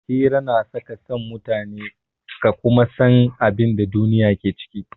Hira na sa ka san mutane ka kuma san abin da duniya ke ciki.